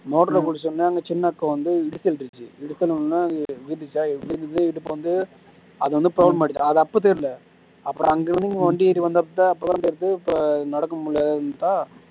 motor ல குளிச்ச உடனே அங்க சின்ன அக்கா வந்து இடிச்சி வீட்டுடுச்சு இடிச்ச உடனே இது விழுந்துடுச்சா விழுந்தது இடுப்பு வந்து அது வந்து problem ஆகிடிச்சு அது அப்போ தெரியலை அப்பறம் அங்கிருந்து நொண்டிக்கிட்டு வந்தப்ப அப்பறம் தான் தெரியுது நடக்க முடியாலைன்னுட்டா